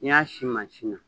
N'i y'a si na